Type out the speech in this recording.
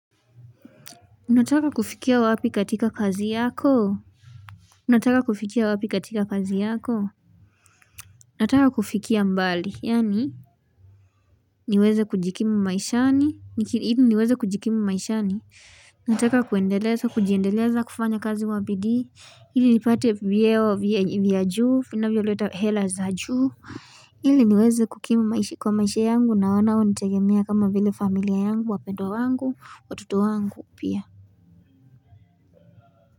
Unataka kufikia wapi katika kazi yako? Unataka kufikia wapi katika kazi yako? Nataka kufikia mbali, yani niweze kujikimu maishani, ili niweze kujikimu maishani nataka kuendeleza, kujiendeleza, kufanya kazi kwa bidii ili nipate vyeo vya juu, finavyo leta hela za juu ili niweze kukimu maishi kwa maishi yangu na wanao nitegemia kama vile familia yangu wapendwa wangu watoto wangu pia.